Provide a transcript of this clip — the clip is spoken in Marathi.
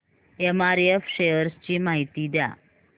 एमआरएफ शेअर्स ची माहिती द्या